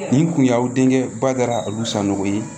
Nin kun y'aw denkɛ bada olu sanu ye